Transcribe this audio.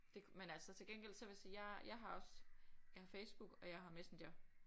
Det men altså til gengæld så vil jeg sige jeg jeg har også jeg har Facebook og jeg har Messenger